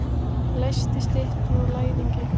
Leysti styttur úr læðingi.